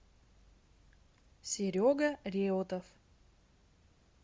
серега реутов